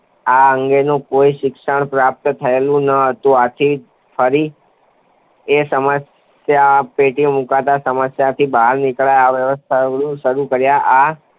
આ અંગેનું કોઈ શિક્ષણ પ્રાપ્ત થયેલ નહોતું. આથી ફરી એને સમસ્યાપેટીમાં મૂકતાં સમસ્યાપેટીમાંથી બહાર નીકળવાના વ્યર્થ પ્રયાસો શરૂ કર્યા, આ